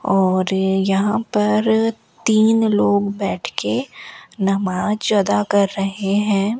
और यहां पर तीन लोग बैठ के नमाज अदा कर रहे हैं।